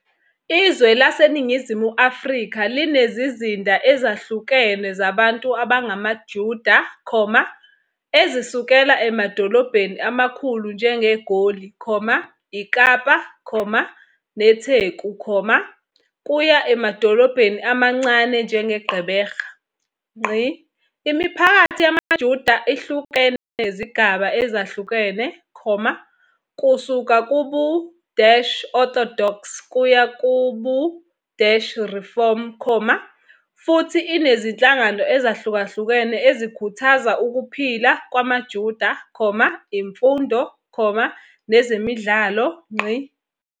Izwe laseNingizimu Afrika linezizinda ezahlukene zabantu abangamaJuda, ezisukela emadolobheni amakhulu njengeGoli, iKapa, neTheku, kuya emadolobheni amancane njengeGqeberha. Imiphakathi yamaJuda ihlukene ngezigaba ezahlukene, kusuka kubu-Orthodox kuya kubu-Reform, futhi inezinhlangano ezahlukene ezikhuthaza ukuphila kwamaJuda, imfundo, nezemidlalo.